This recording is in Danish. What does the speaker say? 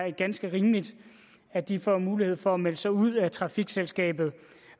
er ganske rimeligt at de får mulighed for at melde sig ud af trafikselskabet